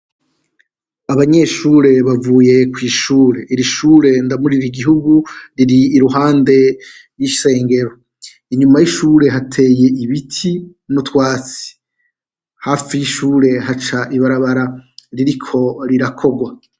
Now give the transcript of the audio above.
Abanyeshure bavuye kw'ishure, irishure ndamurire igihugu, rir'impande y'isengero. Inyuma y'ishure hateye ibiti n'utwatsi, hafi y'ishure haca ibarabara ririko rirakorwa.